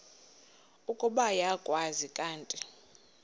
ukuba uyakwazi kanti